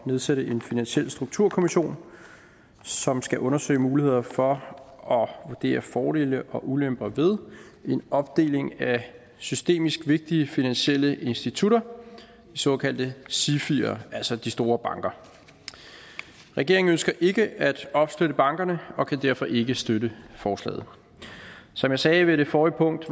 nedsætte en finansiel strukturkommission som skal undersøge muligheder for og vurdere fordele og ulemper ved en opdeling af systemisk vigtige finansielle institutter de såkaldte sifier altså de store banker regeringen ønsker ikke at opsplitte bankerne og kan derfor ikke støtte forslaget som jeg sagde ved det forrige punkt